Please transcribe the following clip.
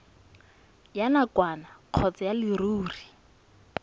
ya nakwana kgotsa ya leruri